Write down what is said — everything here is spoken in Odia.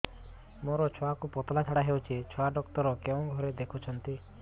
ମୋର ଛୁଆକୁ ପତଳା ଝାଡ଼ା ହେଉଛି ଛୁଆ ଡକ୍ଟର କେଉଁ ଘରେ ଦେଖୁଛନ୍ତି